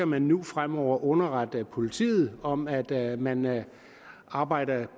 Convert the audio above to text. man nu fremover skal underrette politiet om at at man arbejder